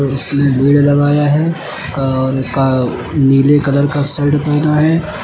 इसने लीड लगाया है और का नीले कलर का शर्ट पहना है।